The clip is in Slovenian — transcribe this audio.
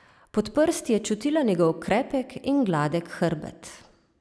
Pod prsti je čutila njegov krepek in gladek hrbet.